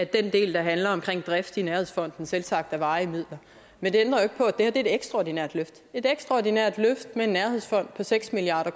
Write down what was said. den del der handler om drift i nærhedsfonden er selvsagt varige midler men det ændrer ikke på at det her er et ekstraordinært løft det et ekstraordinært løft med en nærhedsfond på seks milliard